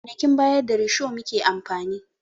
A kwanakin baya da risho muke amfani